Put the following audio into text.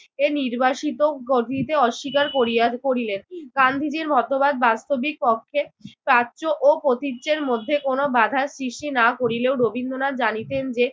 এর নির্বাসিত অস্বীকার করিয়া করিলেন। গান্ধীজির মতবাদ বাস্তবিক পক্ষে প্রাচ্য ও প্রতীচ্যের মধ্যে কোন বাঁধার সৃষ্টি না করিলেও রবীন্দ্রনাথ জানিতেন যে